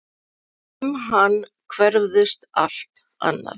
Um hann hverfist allt annað.